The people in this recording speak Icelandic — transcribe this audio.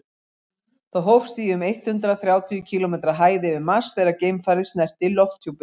það hófst í um eitt hundruð þrjátíu kílómetri hæð yfir mars þegar geimfarið snerti lofthjúpinn